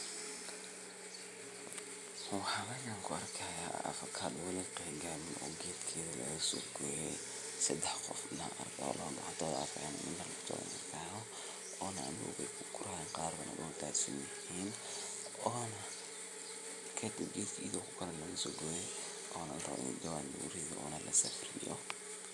Waxa meesha afacado oo wali qangarin oo gedkeda lagasogoye oo hda sidax qofna daxdoda ad kucuni oo amdowga kuguranayn oona gedka iyado karte lagasogeye oo jawan lugusoride oo larawo inii la suq geyo.